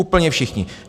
Úplně všichni.